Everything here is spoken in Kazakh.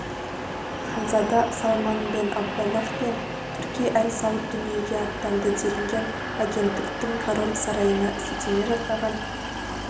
ханзада салман бен абдаллах бен турки әл сауд дүниеге аттанды делінген агенттіктің король сарайына сілтеме жасаған